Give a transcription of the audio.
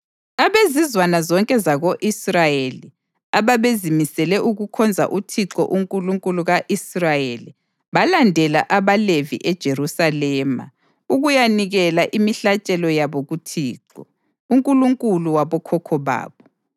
Abezizwana zonke zako-Israyeli ababezimisele ukukhonza uThixo uNkulunkulu ka-Israyeli, balandela abaLevi eJerusalema ukuyanikela imihlatshelo yabo kuThixo, uNkulunkulu wabokhokho babo.